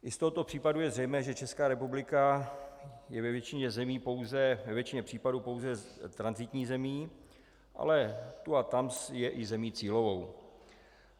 I z tohoto případu je zřejmé, že Česká republika je ve většině případů pouze tranzitní zemí, ale tu a tam je i zemí cílovou.